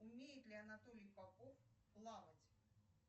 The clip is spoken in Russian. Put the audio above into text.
умеет ли анатолий попов плавать